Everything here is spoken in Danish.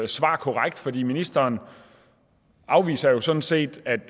svar korrekt fordi ministeren afviser jo sådan set at det